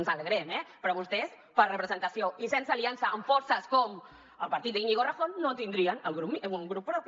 ens n’alegrem eh però vostès per representació i sense aliança amb forces com el partit d’iñigo errejón no tindrien un grup propi